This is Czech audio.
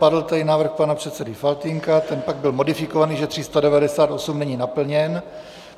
Padl tady návrh pana předsedy Faltýnka, ten pak byl modifikován, že 398 není naplněn.